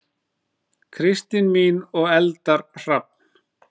Kristín mín og Eldar Hrafn.